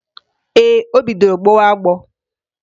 Ee, o bidoro gbọwa agbọ